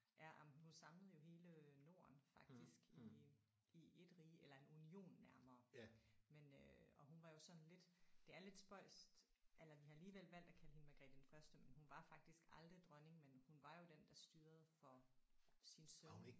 Ja jamen hun samlede jo hele Norden faktisk i i 1 rige eller en union nærmere men øh og hun var jo sådan lidt det er lidt spøjst eller vi har alligevel valgt at kalde hende Margrethe den første men hun var faktisk aldrig dronning men hun var jo den der styrede for sin søn